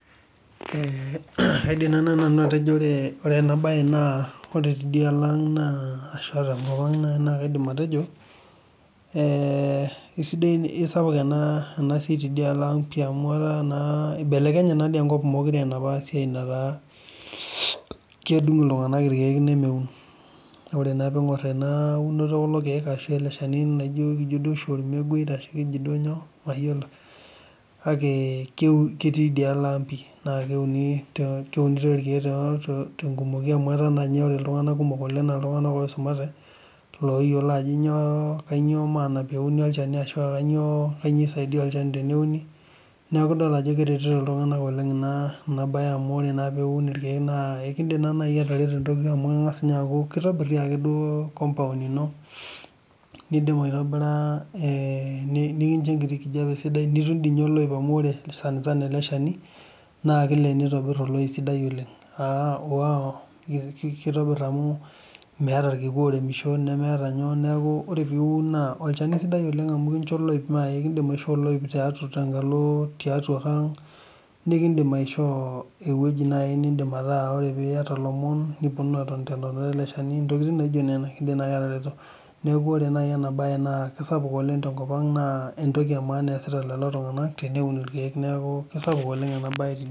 aidim naaji atejo ore ena mbae tidialo ang naa ashu tenkop ang naa kaidim atejo kisapuk ena siai tidialo ang amu eibelekenye naadoi enkop mekure enapa siaia naata kedung iltung'ana irkeek nemeun ore pingoor ena unoto ekule keek laa keji oshi ormeguei kake ketii dialo ang pii naa keunitoi irkeek tenkumoki oleng amu etaa naa ninye etudua iltung'ana naa esumate loyiolo ajo kainyio maana peuni olchani arashu kainyio esaidia olchani tee neuni neeku edol Ajo keretito iltung'ana ena mbae ore naa piun irkeek naa ekidim taa naaji atareto amu kitobir compound ino nitum enkijiape sidai nitum doi ninye oloip amu ore sanisana ele Shani naa kilep nitobir oloip sidai oleng kitobir amu meeta irkiku oudisho neeku ore piun naa olchani sidai amu kindim aishoo oloip tenkalo tiatua ang nikidim aishoo ewueji naaji nidim ataa ore piyataa elomon nipuonunu atoni tee ntonata ele Shani ntokitin naijio Nena kidim naaji atareto neeku ore ena mbae kisapuk naaji tenkop ang naa entoki emaana eesitaa lelo tung'ana teuneun irkeek neeku kisapuk ena mbae tenkop ang